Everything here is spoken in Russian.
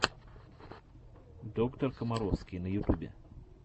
доктор комаровский на ютубе